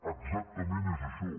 exactament és això